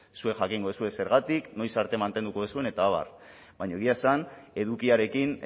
zuek jakingo duzue zergatik noiz arte mantenduko duzuen eta abar baina egia esan edukiarekin